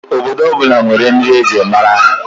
Obodo ọ bụla nwere nri e ji mara ha